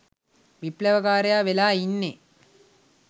විප්ලවකාරයා වෙලා ඉන්නේ.